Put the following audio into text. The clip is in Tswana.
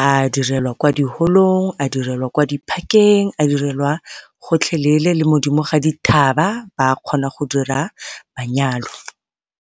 a direlwa kwa diholong, a direlwa kwa di-park-eng, a direlwa gotlhelele le mo godimo ga dithaba ba kgona go dira manyalo.